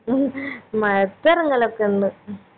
ഉം മഴത്ത് എറങ്ങലൊക്കെ ഇണ്ട്